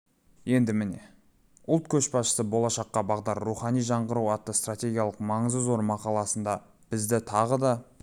енді міне ұлт көшбасшысы болашаққа бағдар рухани жаңғыру атты стратегиялық маңызы зор мақаласында бізді тағы да